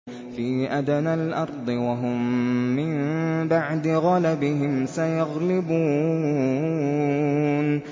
فِي أَدْنَى الْأَرْضِ وَهُم مِّن بَعْدِ غَلَبِهِمْ سَيَغْلِبُونَ